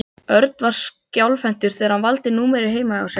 Örn var skjálfhentur þegar hann valdi númerið heima hjá sér.